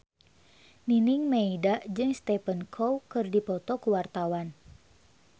Nining Meida jeung Stephen Chow keur dipoto ku wartawan